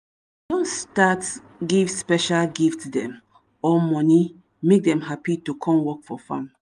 dem don start give special gift dem or money make dem happy to come work for farm